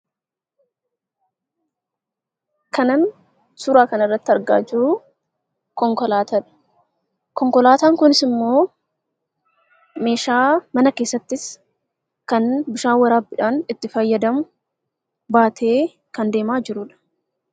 Kan an suuraa kana irratti argaa jiru konkolaataaa dha. Konkolaataan kunis immoo, meeshaa mana keessaattis kan bishaan waraabbiidhaan itti fayyadamu baatee kan deemaa jiruudha.